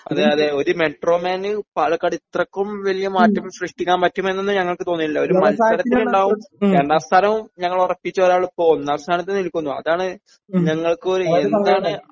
അതെ അതെ ഒരു മെട്രോമാന് പാലക്കാട് ഇത്രയ്ക്കും വലിയ മാറ്റം സൃഷ്ടിക്കാൻ പറ്റുമെന്ന് ഞങ്ങൾക്ക് തോന്നിയിട്ടില്ല ഒരു മത്സരത്തിനുണ്ടാവും രണ്ടാം സ്ഥാനവും ഞങ്ങൾ ഉറപ്പിച്ച ഒരാള് ഇപ്പോ ഒന്നാം സ്ഥാനത്ത് നിൽക്കുന്നു അതാണ് ഞങ്ങൾക്കും ഒരു എന്താണ്